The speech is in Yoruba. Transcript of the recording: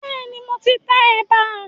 Bẹ́ẹ̀ni, mo ti tẹ ẹ̀bà